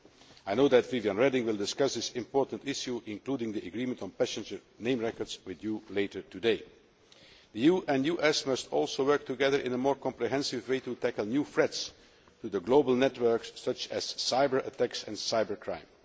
I know that Viviane Reding will discuss this important issue, including the agreement on passenger name records, with you later today. The EU and the US must also work together in a more comprehensive way to tackle new threats to the global networks, such as cyber effects and cyber crime.